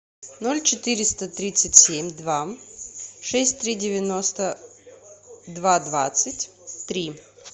ноль четыреста тридцать семь два шесть три девяносто два двадцать три